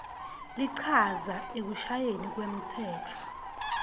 lichaza ekushayweni kwemtsetfo